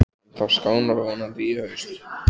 En það skánar vonandi í haust.